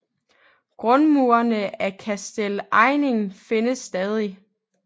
Grundmurene af Kastell Eining findes stadig